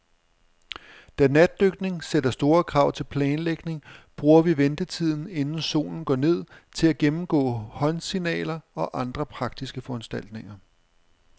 Da natdykning sætter store krav til planlægning, bruger vi ventetiden, inden solen går ned, til at gennemgå håndsignaler og andre praktiske foranstaltninger.